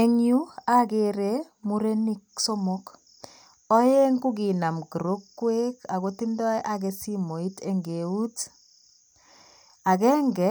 Eng yu, ogere murenik somok. Oeng' ko kinam kirokwek ago tindoi age simoit eng' eut. Agenge,